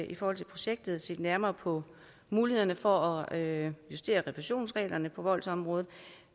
i forhold til projektet set nærmere på mulighederne for at justere refusionsreglerne på voldsområdet